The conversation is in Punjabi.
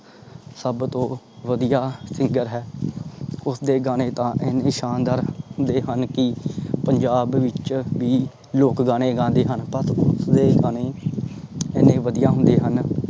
ਸਬ ਤੋਂ ਵਧੀਆ singer ਹੈ। ਉਸਦੇ ਗਾਣੇ ਤਾਂ ਏਨੇ ਸ਼ਾਨਦਾਰ ਹੁੰਦੇ ਹਨ ਕਿ ਪੰਜਾਬ ਵਿਚ ਵੀ ਲੋਕ ਗਾਣੇ ਗਾਂਦੇ ਹਨ। ਅਤੇ ਉਸਦੇ ਗਾਣੇ ਏਨੇ ਵਧੀਆ ਹੁੰਦੇ ਹਨ।